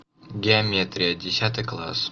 геометрия десятый класс